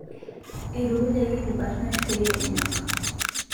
Eitukujaki ilbarnot pee enyok